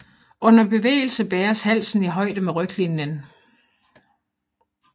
Under bevægelse bæres halen i højde med ryglinjen